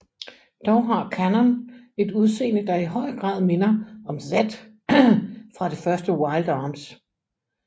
Dog har Kanon et udseende der i høj grad minder om Zed fra det første Wild Arms